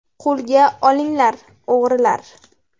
Qo‘lga olingan o‘g‘rilar.